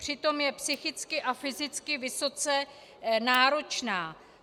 Přitom je psychicky a fyzicky vysoce náročná.